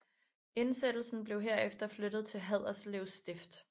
Indsættelsen blev herefter flyttet til Haderslev stift